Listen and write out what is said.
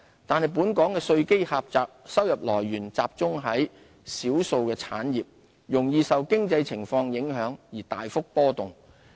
但本港稅基狹窄，收入來源集中在少數產業，容易受經濟情況影響而大幅波動。